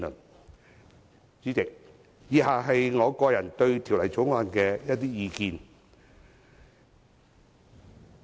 代理主席，以下是我對《條例草案》的個人意見。